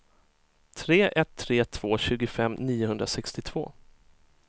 tre ett tre två tjugofem niohundrasextiotvå